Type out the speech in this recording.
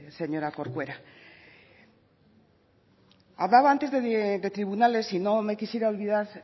señora corcuera hablaba antes de tribunales y no me quisiera olvidar